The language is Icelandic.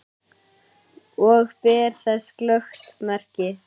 Og ber þess glöggt merki.